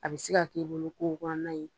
A bɛ se ka k'i bolo ko nan ye